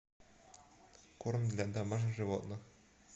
корм для домашних животных